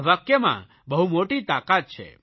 આ વાક્યમાં બહુ મોટી તાકાત છે